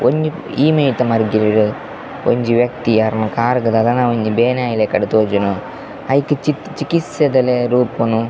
ಒಂಜಿ ಈ ಮೈತ ಮರ್ಗಿಲ್ಡ್ ಒಂಜಿ ವ್ಯಕ್ತಿ ಅರ್ನ ಕಾರ್ಗ್ ದಾದನ ಒಂಜಿ ಬೇನೆ ಆಯಿಲಕಡ್ ತೋಜುಂಡು ಐಕ್ ಚಿಕಿ ಚಿಕಿತ್ಸೆದ ರೂಪೊನು.